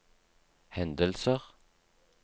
hendelser